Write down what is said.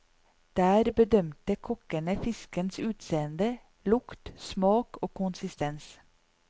Der bedømte kokkene fiskens utseende, lukt, smak og konsistens.